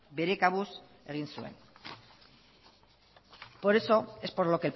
bere kabuz egin zuen por eso es por lo